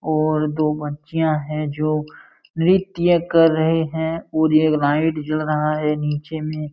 और दो बच्चियां है जो नृत्य कर रहे हैं और एक लाइट जल रहा है नीचे में।